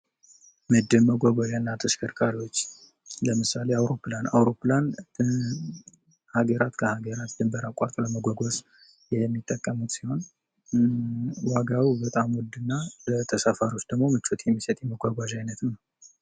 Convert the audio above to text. መጓጓዣና ተከሽከርካሪዎች ለምሳሌ:-አውሮፕላን፤ አውሮፕላን ሃገራት ከሃገራት ድንበር አቋርጦ ለመጓጓዝ የሚጠቀሙ ሲሆን ዋጋው በጣም ውድና ለተፈሪዎች ደግሞ ምቾት የሚሰጥ የመጓጓዣ አይነት ነው።